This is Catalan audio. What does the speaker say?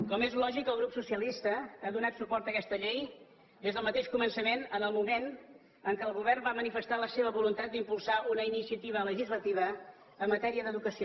com és lògic el grup socialistes ha donat suport a aquesta llei des del mateix començament en el moment en què el govern va manifestar la seva voluntat d’impulsar una iniciativa legislativa en matèria d’educació